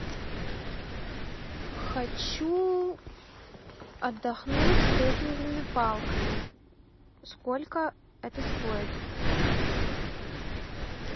хочу отдохнуть с трекинговыми палками сколько это стоит